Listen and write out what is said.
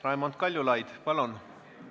Raimond Kaljulaid, palun!